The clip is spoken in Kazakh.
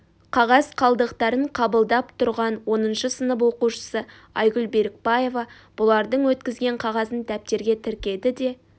қағаз қалдықтарын қабылдап тұрған оныншы сынып оқушысы айгүл берікбаева бұлардың өткізген қағазын дәптерге тіркеді де